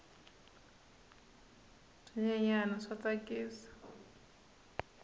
swinyenyani swa tsakisa